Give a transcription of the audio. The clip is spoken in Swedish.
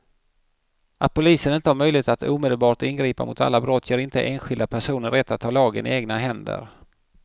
Att polisen inte har möjlighet att omedelbart ingripa mot alla brott ger inte enskilda personer rätt att ta lagen i egna händer.